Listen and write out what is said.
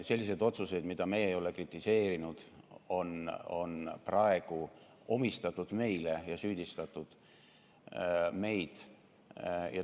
Sellised otsused, mida meie ei ole kritiseerinud, on praegu omistatud meile ja neis süüdistatud meid.